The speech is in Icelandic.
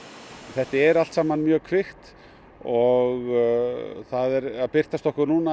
þetta er allt saman mjög kvikt og það er að birtast okkur núna